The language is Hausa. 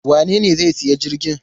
Wanene zai sayi jirgin?